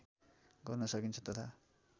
गर्न सकिन्छ तथा